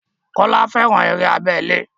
Kọ́lá fẹ́ran eré abẹ́lé